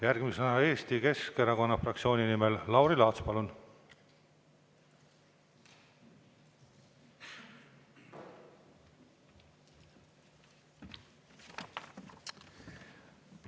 Järgmisena Eesti Keskerakonna fraktsiooni nimel Lauri Laats, palun!